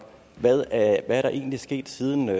hvad er der egentlig sket siden man